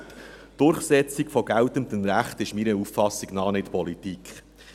Die Durchsetzung von geltendem Recht ist nach meiner Auffassung nicht Politik.